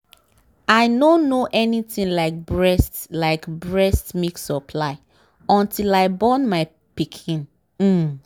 i nor know anything like breast like breast milk supply until i born my pikin um